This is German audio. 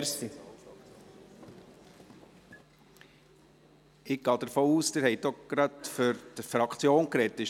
Ich gehe davon aus, dass Sie auch gleich für die Fraktion gesprochen haben.